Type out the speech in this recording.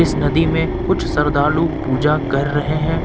नदी में कुछ श्रद्धालु पूजा कर रहे हैं।